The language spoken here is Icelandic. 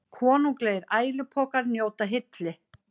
Konunglegir ælupokar njóta hylli